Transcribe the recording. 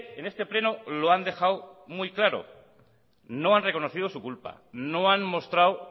en este pleno lo han dejado muy claro no han reconocido su culpa no han mostrado